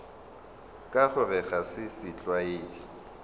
ka gore ga se setlwaedi